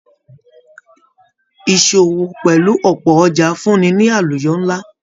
Ìṣòwò pẹlú ọpọ ọjà fún ni àlùyọ nla.